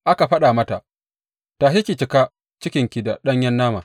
Aka faɗa mata, Tashi ki cika cikinki da ɗanyen nama!’